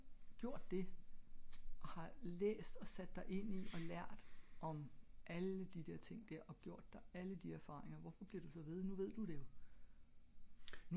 men hvis du har gjort det har læst og sat dig ind i og lært om alle de der ting der og gjort dig alle de her erfaringer hvorfor bliver du så ved? nu ved du det jo